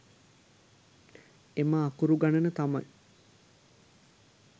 එම අකුරු ගණන තමයි